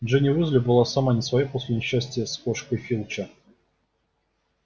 джинни уизли была сама не своя после несчастья с кошкой филча